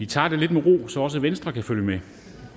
tager det lidt med ro så også venstre kan følge med